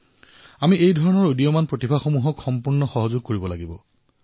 আমি এনে অংকুৰিত প্ৰতিভাসমূহক সহায় কৰিব লাগিব